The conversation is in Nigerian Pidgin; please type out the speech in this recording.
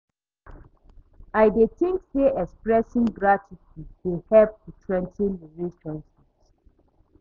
I dey think say expressing gratitude dey help to strengthen relationships.